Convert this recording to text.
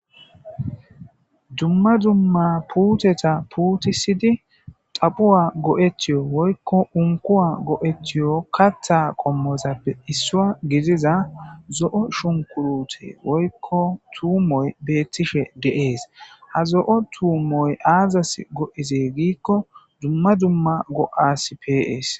dumma dumma puteta puutisidi daphuwa go7etiyo woykko unkowa go7etiyo kattha qommozappe issua giziza zo7o shunkurute woykko tuumoy beettishe deees ha zo7o tuumoy aazas go7izee giikko dumma dumma go7as pees